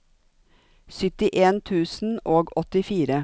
syttien tusen og åttifire